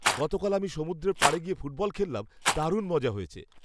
গতকাল আমি সমুদ্রের পাড়ে গিয়ে ফুটবল খেললাম। দারুণ মজা হয়েছে।